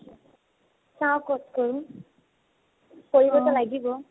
চাও কত কৰো। কৰিব্তো লাগিব।